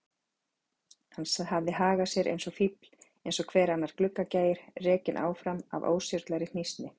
Hann hafði hagað sér eins og fífl, eins og hver annar gluggagægir, rekinn áfram af óstjórnlegri hnýsni.